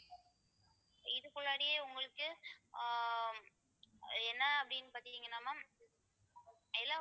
இதுக்குள்ளாறயே உங்களுக்கு ஆஹ் என்ன அப்படின்னு பாத்தீங்கன்னா ma'am எல்லா